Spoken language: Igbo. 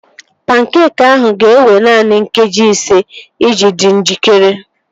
Pankeekị ahụ ga-ewe naanị nkeji ise iji dị njikere